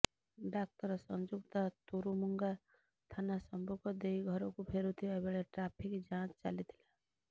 ଡାକ୍ତର ସଂଯୁକ୍ତା ତୁରୁମୁଙ୍ଗା ଥାନା ସମ୍ମୁଖ ଦେଇ ଘରକୁ ଫେରୁଥିବା ବେଳେ ଟ୍ରାଫିକ୍ ଯାଞ୍ଚ ଚାଲିଥିଲା